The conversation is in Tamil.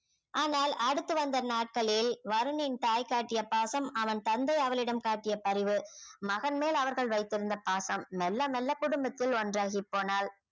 ஆனால் அடுத்து வந்த நாட்களில் வருணின் தாய் காட்டிய பாசம் அவன் தந்தை அவளிடம் காட்டிய பரிவு மகன் மேல் அவர்கள் வைத்திருந்த பாசம் மெல்ல மெல்ல குடும்பத்தில் ஒன்றாகிப்போனாள்